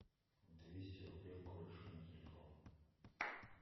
двести рублей корешу на телефон